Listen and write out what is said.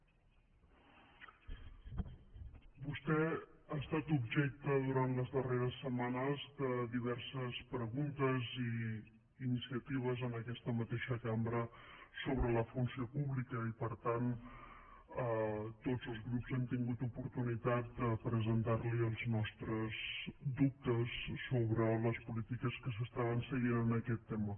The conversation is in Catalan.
vostè ha estat objecte durant les darreres setmanes de diverses preguntes i iniciatives en aquesta mateixa cambra sobre la funció pública i per tant tots els grups hem tingut oportunitat de presentar li els nostres dubtes sobre les polítiques que s’estaven seguint en aquest tema